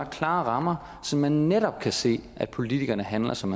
klare rammer så man netop kan se at politikerne handler som